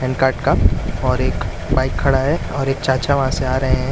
Pan card का और एक बाइक खड़ा है और एक चाचा वहां से आ रहे हैं।